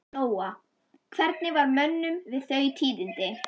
Lóa: Hvernig var mönnum við þau tíðindi?